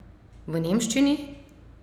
V nemščini!